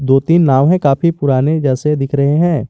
दो तीन नाव है काफी पुराने जैसे दिख रहे हैं।